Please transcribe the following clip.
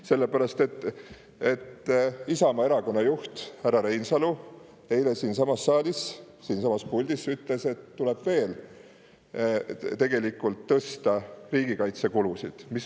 Sellepärast et Isamaa erakonna juht härra Reinsalu ütles eile siinsamas saalis siinsamas puldis, et tuleb veel tõsta riigikaitsekulusid.